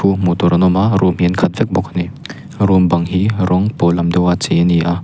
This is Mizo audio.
hmuhtur an awm a room hi an khat vek bawk a ni room bang hi rawng pawl lam deuh a chei a ni a.